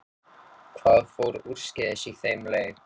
Hvað fór úrskeiðis í þeim leik?